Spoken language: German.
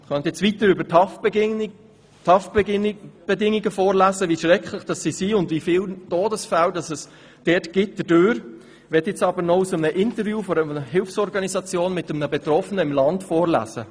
Ich könnte weiter über die Haftbedingungen vorlesen, wie schrecklich diese sind und wie viele Todesfälle es in der Folge gibt, möchte aber noch aus einem Interview einer Hilfsorganisation mit einem Betroffenen im Land vorlesen.